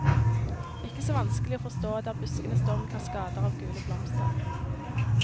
Ikke så vanskelig å forstå, der buskene står med kaskader av gule blomster.